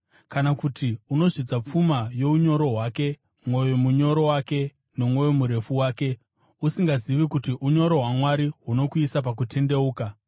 Kana kuti unozvidza pfuma younyoro hwake, mwoyo munyoro wake, nomwoyo murefu wake, usingazivi kuti unyoro hwaMwari hunokuisa pakutendeuka?